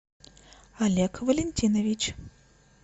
олег валентинович